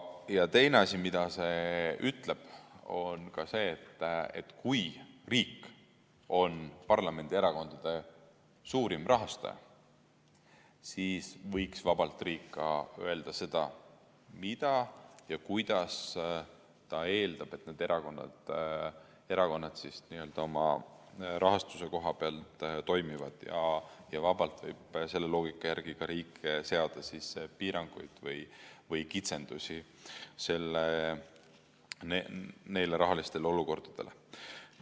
Ja teine asi, millest see kõneleb, on see, et kui riik on parlamendierakondade suurim rahastaja, siis võiks vabalt riik öelda ka seda, mida ta eeldab, kuidas need erakonnad oma rahastuse koha pealt toimivad, ja vabalt võib selle loogika järgi riik seada ka piiranguid või kitsendusi neile rahalistele olukordadele.